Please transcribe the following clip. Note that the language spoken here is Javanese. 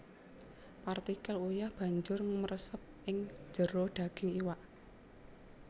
Partikel uyah banjut mresep ing jero daging iwak